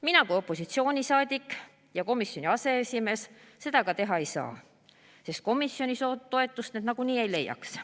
Mina kui opositsioonisaadik ja komisjoni aseesimees seda aga teha ei saa, sest komisjonis need toetust nagunii ei leiaks.